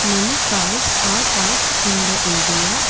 many cars are parked in the area.